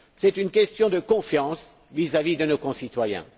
C'est une question de confiance vis à vis de nos concitoyens.